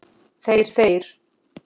Þeir, þeir!